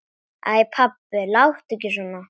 Æ pabbi, láttu ekki svona.